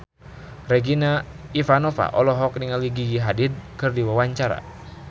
Regina Ivanova olohok ningali Gigi Hadid keur diwawancara